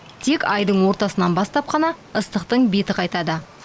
тек айдың ортасынан бастап қана ыстықтың беті қайтады